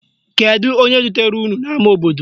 Kedu onye dutere unu n' ama obodo?